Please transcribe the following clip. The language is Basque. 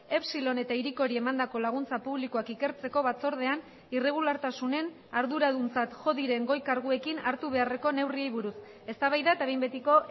epsilon eta hirikori emandako laguntza publikoak ikertzeko batzordean irregulartasunen arduraduntzat jo diren goi karguekin hartu beharreko neurriei buruz eztabaida eta behin betiko